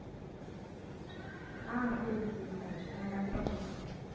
ஆஹ் சரி சரி சங்கவி நான் கண்டிப்பா சொல்றேன்